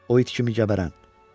O it kimi gəbərən.